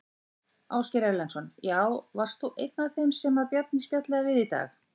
Ásgeir Erlendsson: Já, varst þú einn af þeim sem að Bjarni spjallaði við í dag?